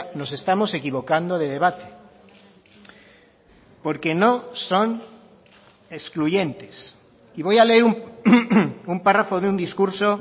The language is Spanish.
nos estamos equivocando de debate porque no son excluyentes y voy a leer un párrafo de un discurso